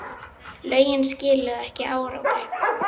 Lögin skiluðu ekki árangri